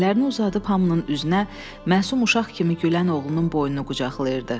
Əllərini uzadıb hamının üzünə məsum uşaq kimi gülən oğlunun boynunu qucaqlayırdı.